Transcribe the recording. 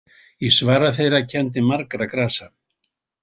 Í svari þeirra kenndi margra grasa.